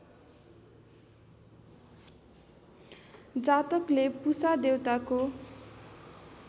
जातकले पुषा देवताको